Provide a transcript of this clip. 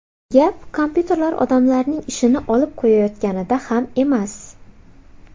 Gap kompyuterlar odamlarning ishini olib qo‘yayotganida ham emas.